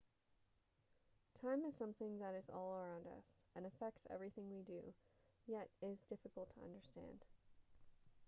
time is something that is all around us and affects everything we do yet is difficult to understand